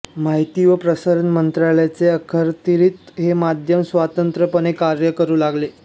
माहिती व प्रसारण मंत्रालयाच्या अखत्यारीत हे मध्यम स्वतंत्रपणे कार्य करू लागले